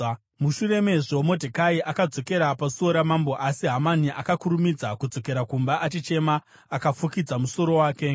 Mushure mezvo Modhekai akadzokera pasuo ramambo. Asi Hamani akakurumidza kudzokera kumba, achichema akafukidza musoro wake,